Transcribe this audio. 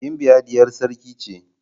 Gimbiya diyar sarki ce.